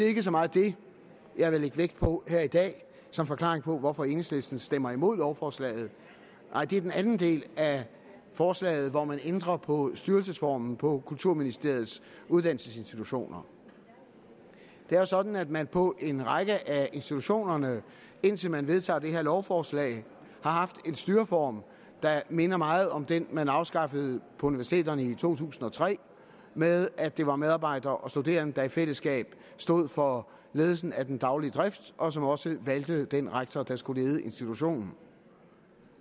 ikke så meget det jeg vil lægge vægt på her i dag som forklaringen på hvorfor enhedslisten stemmer imod lovforslaget nej det er den anden del af forslaget hvor man ændrer på styrelsesformen på kulturministeriets uddannelsesinstitutioner det er jo sådan at man på en række af institutionerne indtil man vedtager det her lovforslag har haft en styreform der minder meget om den man afskaffede på universiteterne i to tusind og tre med at det var medarbejdere og studerende der i fællesskab stod for ledelsen af den daglige drift og som også valgte den rektor der skulle lede institutionen